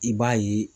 I b'a ye